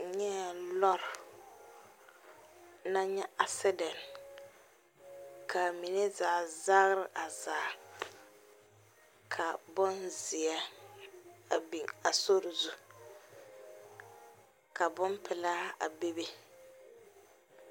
N nyɛɛ lɔɔre naŋ nyɛ accident ka a mine zaa zagre a zaa ka bonzeɛ a biŋ a sori zu ka bonpelaa a bebe.